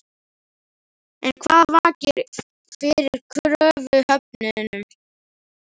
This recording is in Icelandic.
En hvað vakir fyrir kröfuhöfunum?